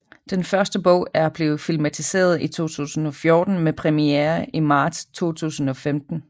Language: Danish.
Den første bog er blevet filmatiseret i 2014 med premiere i marts 2015